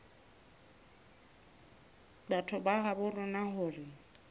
batho ba habo rona hore